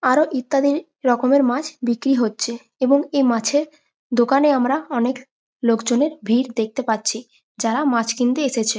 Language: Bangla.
আরো ইত্যাদি রকমের মাছ বিক্রি হচ্ছে এবং এই মাছের দোকানে আমরা অনেক লোকজনের ভিড় দেখতে পাচ্ছি যারা মাছ কিনতে এসেছে।